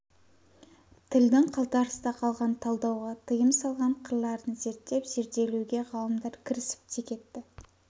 тілдің қалтарыста қалған талдауға тыйым салған қырларын зерттеп зерделеуге ғалымдар кірісіп те кетті